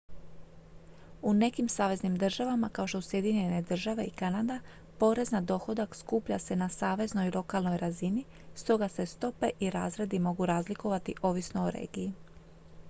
u nekim saveznim državama kao što su sjedinjene države i kanada porez na dohodak skuplja se na saveznoj i lokalnoj razini stoga se stope i razredi mogu razlikovati ovisno o regiji